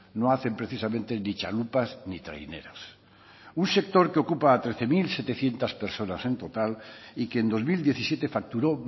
no hacen precisamente ni txalupas ni traineras un sector que ocupa a trece mil setecientos personas en total y que en dos mil diecisiete facturó